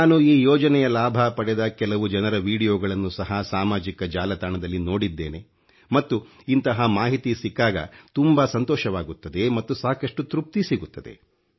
ನಾನು ಈ ಯೋಜನೆಯ ಲಾಭ ಪಡೆದ ಕೆಲವು ಜನರ ವೀಡಿಯೊಗಳನ್ನೂ ಸಹ ಸಾಮಾಜಿಕ ಜಾಲತಾಣದಲ್ಲಿ ನೋಡಿದ್ದೇನೆ ಮತ್ತು ಇಂತಹ ಮಾಹಿತಿ ಸಿಕ್ಕಾಗ ತುಂಬಾ ಸಂತೋಷವಾಗುತ್ತದೆ ಮತ್ತು ಸಾಕಷ್ಟು ತೃಪ್ತಿ ಸಿಗುತ್ತದೆ